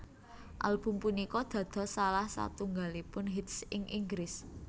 Album punika dados salah satunggalipun hits ing Inggris